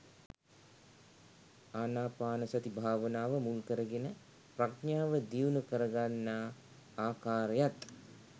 ආනාපානසති භාවනාව මුල්කරගෙන ප්‍රඥාව දියුණු කරගන්නා ආකාරයත්